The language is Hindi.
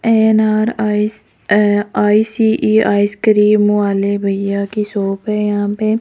एन_आर_आई अ आई_सि_आई आइसक्रीम वाले भैया की शॉप है यहां पे --